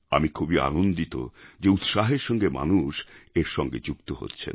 আমি খুবই আনন্দিত যে উৎসাহের সঙ্গে মানুষ এর সঙ্গে যুক্ত হচ্ছেন